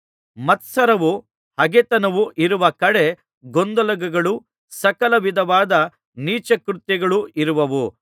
ಮತ್ಸರವೂ ಹಗೆತನವೂ ಇರುವ ಕಡೆ ಗೊಂದಲಗಳೂ ಸಕಲ ವಿಧದ ನೀಚ ಕೃತ್ಯಗಳೂ ಇರುವವು